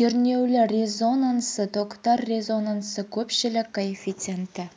кернеулер резонансы токтар резонансы күштілік коэффициенті